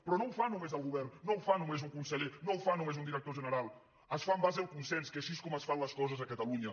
però no ho fa només el govern no ho fa només un conseller no ho fa només un director general es fa en base al consens que així és com es fan les coses a catalunya